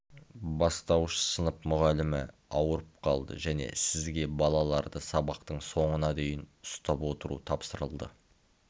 бастауыш сынып мұғалімі ауырып қалды және сізге балаларды сабақтың соңына дейін ұстап отыру тапсырылды